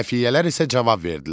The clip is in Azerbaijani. Xəfiyyələr isə cavab verdilər: